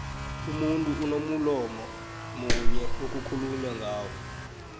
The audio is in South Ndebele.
umuntu unomulomo munyo okhuulumangano